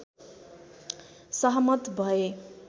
सहमत भए